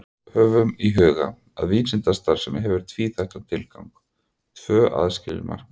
Höfum í huga að vísindastarfsemi hefur tvíþættan tilgang, tvö aðskilin markmið.